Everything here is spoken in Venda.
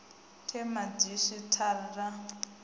the madzhisi tara ta a